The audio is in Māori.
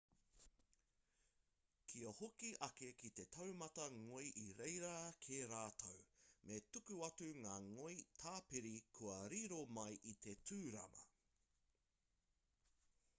kia hoki ake ki te taumata ngoi i reira kē rātou me tuku atu ngā ngoi tāpiri kua riro mai i te tūrama